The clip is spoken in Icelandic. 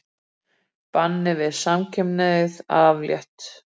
Banni við samkynhneigð aflétt